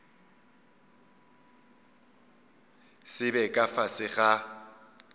se be ka fase ga